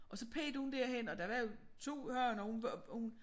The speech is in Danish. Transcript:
Og så pegede hun derhen og der var 2 haner hun hun